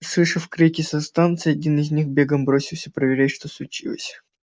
заслышав крики со станции один из них бегом бросился проверять что случилось